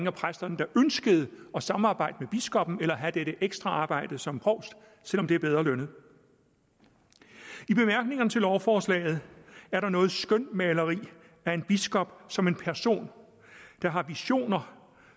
af præsterne der ønskede at samarbejde med biskoppen eller have dette ekstra arbejde som provst selv om det er bedre lønnet i bemærkningerne til lovforslaget er der noget skønmaleri af en biskop som en person der har visioner